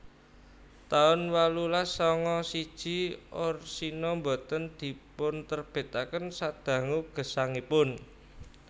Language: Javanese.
taun wolulas sanga siji Orsino Boten dipunterbitaken sadangu gesangipun